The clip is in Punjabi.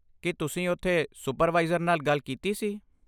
ਕੀ ਤੁਸੀਂ ਉੱਥੇ ਸੁਪਰਵਾਈਜ਼ਰ ਨਾਲ ਗੱਲ ਕੀਤੀ ਸੀ?